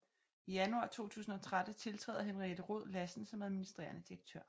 I januar 2013 tiltræder Henriette Rhod Lassen som administrerende direktør